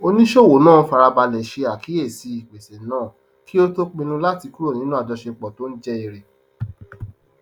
oníṣòwò náà fara balẹ ṣe àkíyèsí ìpèsè náà kí ó tó pinnu láti kúrò nínú ajọṣepọ tó ń jẹ èrè